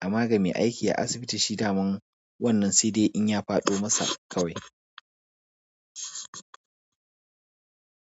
Amma ga mai aiki a asibiti shi daman wannan sai dai in ya faɗo masa kawai.